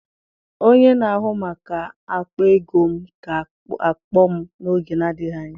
Onye na-ahụ maka akpa ego m ga-akpọ m n'oge na-adịghị anya.